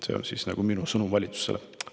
See on minu sõnum valitsusele.